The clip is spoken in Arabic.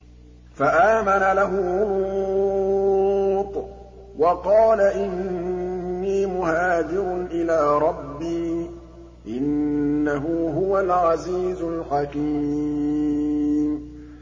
۞ فَآمَنَ لَهُ لُوطٌ ۘ وَقَالَ إِنِّي مُهَاجِرٌ إِلَىٰ رَبِّي ۖ إِنَّهُ هُوَ الْعَزِيزُ الْحَكِيمُ